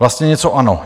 Vlastně něco ano.